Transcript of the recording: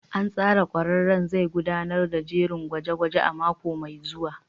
An tsara ƙwararren zai gudanar da jerin gwaje-gwaje a mako mai zuwa.